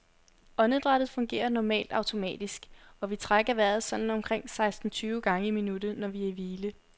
Åndedrættet fungerer normalt automatisk, og vi trækker vejret sådan omkring seksten tyve gange i minuttet, når vi er i hvile.